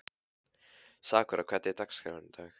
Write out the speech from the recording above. Sakura, hvernig er dagskráin í dag?